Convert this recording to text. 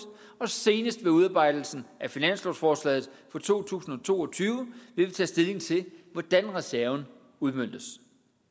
og senest med udarbejdelsen af finanslovsforslaget for to tusind og to og tyve vil vi tage stilling til hvordan reserven udmøntes